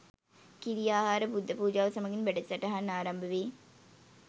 කිරි ආහාර බුද්ධ පූජාව, සමඟින් වැඩසටහන් ආරම්භ වේ.